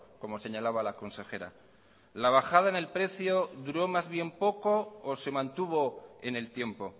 como señalaba la consejera la bajada en el precio duró más bien poco o se mantuvo en el tiempo